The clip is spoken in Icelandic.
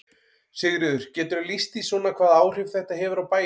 Sigríður: Geturðu lýst því svona hvaða áhrif þetta hefur á bæinn?